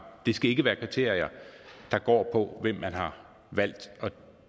det skal ikke være kriterier der går på hvem man har valgt at